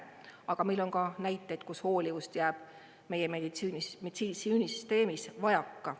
Aga meil on ka näiteid, kus hoolivust jääb meie meditsiinisüsteemis vajaka.